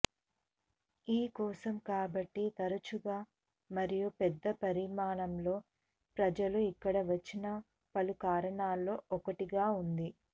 ఈ కోసం కాబట్టి తరచుగా మరియు పెద్ద పరిమాణంలో ప్రజలు ఇక్కడ వచ్చిన పలు కారణాల్లో ఒకటిగా ఉంది